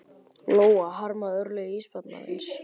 Lóa: Harmarðu örlög ísbjarnarins?